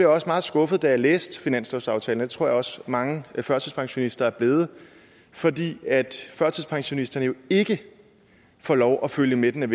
også meget skuffet da jeg læste finanslovsaftalen og det tror jeg også mange førtidspensionister er blevet fordi førtidspensionisterne jo ikke får lov at følge med den